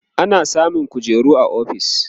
ana samun kujeru a ofis